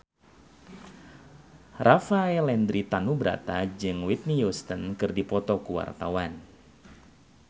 Rafael Landry Tanubrata jeung Whitney Houston keur dipoto ku wartawan